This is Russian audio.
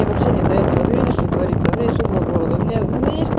вообще не до этого ты видишь что творится у меня ещё два города